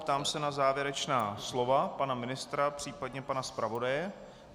Ptám se na závěrečná slova pana ministra, případně pana zpravodaje.